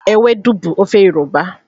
Ewedu bụ ofe Yoruba